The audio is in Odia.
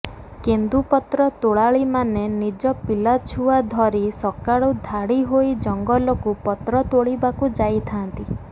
କେନ୍ଦୁପତ୍ର ତୋଳାଳିମାନେ ନିଜ ପିଲାଛୁଆ ଧରି ସକାଳୁ ଧାଡି ହୋଇ ଜଙ୍ଗଲକୁ ପତ୍ର ତୋଳିବାକୁ ଯାଇଥାନ୍ତି